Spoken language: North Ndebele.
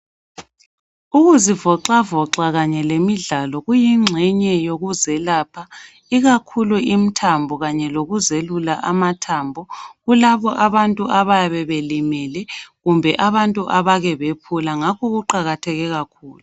Ukuzivoxavoxa kanye lemidlalo, kuyingxenye yokuzelapha. Ikakhulu imthambo kanye lokuzelula amathambo kulabantu abayabe belimele, kumbe abantu abekebephula ngakho kuqakatheke kakhulu.